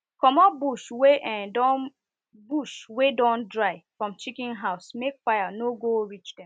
commot bush wey don bush wey don dry from chicken house make fire no go reach them